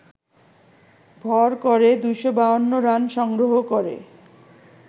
ভর করে ২৫২ রান সংগ্রহ করে